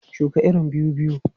Shuka irin biyu biyu!